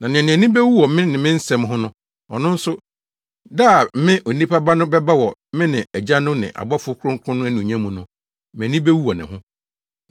Na nea nʼani bewu me ne me nsɛm ho no, ɔno nso, da a me, Onipa Ba no bɛba wɔ me ne Agya no ne abɔfo kronkron no anuonyam mu no, mʼani bewu wɔ ne ho.